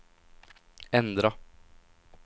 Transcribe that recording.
ändra